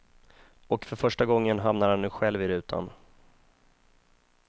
Och för första gången hamnar han nu själv i rutan.